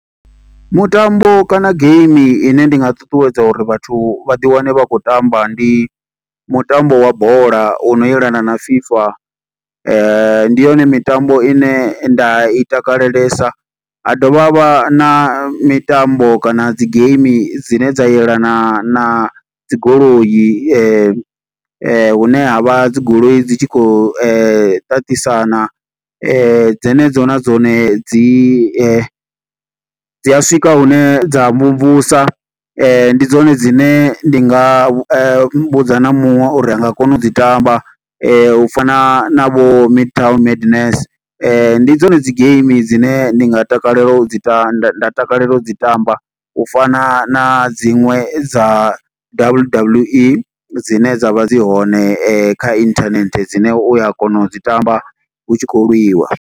Mutambo kana game ine ndi nga ṱuṱuwedza uri vhathu vhaḓi wane vha khou tamba ndi mutambo wa bola, u no yelana na FIFA. Ndi yone mitambo ine nda i takalelesa. Ha dovha havha na mitambo kana dzi game dzine dza yelana na dzi goloi . Hune ha vha dzi goloi dzi tshi khou ṱaṱisana. Dze ne dzo na dzone dzi . Dzi a swika hune dza mvumvusa, ndi dzone dzine ndi nga vhudza na muṅwe uri anga kona u dzi tamba. U fana na vho Midtown Madness, ndi dzone dzi game dzine ndi nga takalela u dzi ita, nda nda takalela u dzi tamba. U fana na dziṅwe dza W_W_E, dzine dza vha dzi hone kha inthanethe dzine uya kona u dzi tamba, hu tshi khou lwiwa.